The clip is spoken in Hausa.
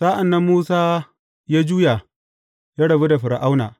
Sa’an nan Musa ya juya, ya rabu da Fir’auna.